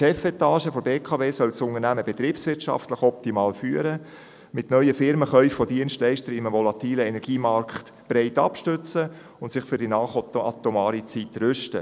Die Chefetage der BKW soll das Unternehmen betriebswirtschaftlich optimal führen, es mit neuen Firmenkäufen von Dienstleistern in einem volatilen Energiemarkt breit abstützen und sich für die nachatomare Zeit rüsten.